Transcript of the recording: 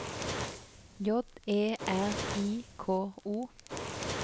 J E R I K O